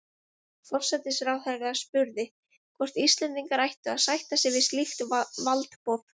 Forsætisráðherra spurði, hvort Íslendingar ættu að sætta sig við slíkt valdboð